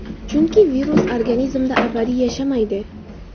Chunki virus organizmda abadiy yashamaydi.